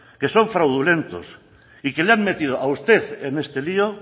que son fraudulentos y que le han metido a usted en este lío